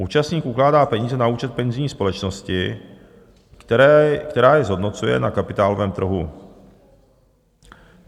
Účastník ukládá peníze na účet penzijní společnosti, která je zhodnocuje na kapitálovém trhu.